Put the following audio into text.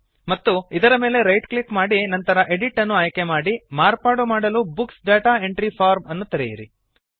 ಮತ್ತು ಇದರ ಮೇಲೆ ರೈಟ್ ಕ್ಲಿಕ್ ಮಾಡಿ ನಂತರ ಎಡಿಟ್ ಅನ್ನು ಆಯ್ಕೆ ಮಾಡಿ ಮಾರ್ಪಾಡು ಮಾಡಲು ಬುಕ್ಸ್ ಡಾಟಾ ಎಂಟ್ರಿ ಫಾರ್ಮ್ ಅನ್ನು ತೆರೆಯಿರಿ